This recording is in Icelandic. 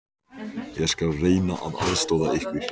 Ég skal reyna að aðstoða ykkur.